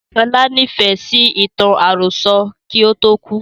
Sọlá ni Ifẹ̀ sì ìtàn àròsọ̀ kí ó tó kú